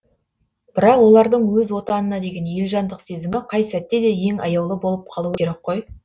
бірақ олардың өз отанына деген елжандық сезімі қай сәтте де ең аяулы болып қалуы керек қой